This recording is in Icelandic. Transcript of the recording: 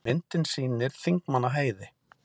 myndin sýnir þingmannaheiði